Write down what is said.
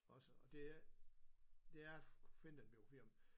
Også og det er det er fint at blive flere om